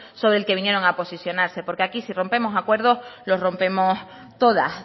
sobre el que vinieron a posicionarse porque aquí si rompemos un acuerdo lo rompemos todas